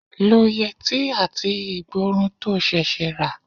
Lo yẹtí àti igborun to ṣẹ̀ṣẹ̀ rà.